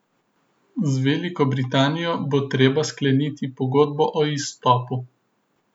Z Veliko Britanijo bo treba skleniti pogodbo o izstopu.